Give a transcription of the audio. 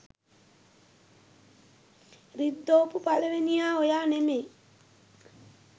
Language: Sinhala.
රිද්දෝපු පළවෙනියා ඔයා නෙමේ.